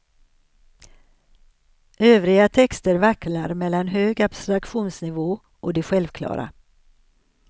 Övriga texter vacklar mellan hög abstraktionsnivå och det självklara.